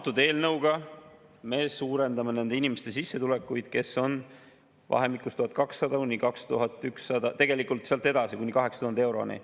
Selle eelnõuga me suurendame nende inimeste sissetulekuid, kes vahemikus 1200–2100, tegelikult sealt edasi kuni 8000 euroni.